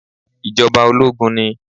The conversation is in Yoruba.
Ìjọba ológun ni